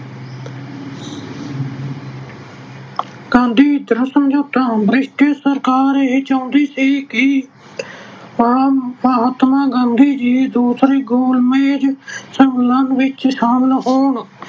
Gandhi Irwin ਸਮਝੌਤਾ- British ਸਰਕਾਰ ਇਹ ਚਾਹੁੰਦੀ ਸੀ ਕਿ ਮਹਾਤਮਾ ਗਾਂਧੀ ਜੀ ਦੂਸਰੇ ਗੋਲ ਮੇਜ ਸੰਮੇਲਨ ਵਿੱਚ ਸ਼ਾਮਲ ਹੋਣ।